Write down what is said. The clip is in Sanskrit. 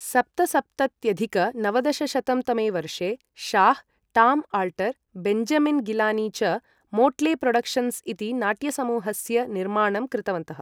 सप्तसप्तत्यधिक नवदशशतं तमे वर्षे Shah, Tom Alter, Benjamin Gilani च मोट्ले प्रोडक्शन्स् इति नाट्यसमूहस्य निर्माणं कृतवन्तः ।